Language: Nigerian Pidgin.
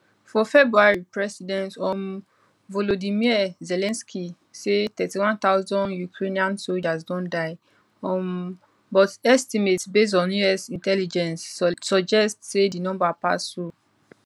for february president um volodymyr zelensky say 31000 ukrainian soldiers don die um but estimates based on us intelligence suggest say di number pass so